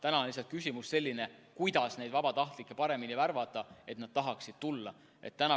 Küsimus on lihtsalt see, kuidas neid vabatahtlikke paremini värvata, et nad tahaksid abiks tulla.